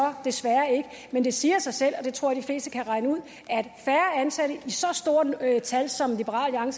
desværre ikke men det siger sig selv og det tror jeg de fleste kan regne ud at færre ansatte i så stort et tal som liberal